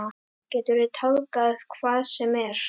Geturðu tálgað hvað sem er?